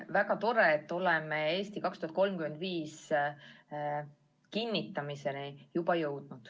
Väga tore, et oleme juba jõudnud "Eesti 2035" kinnitamiseni.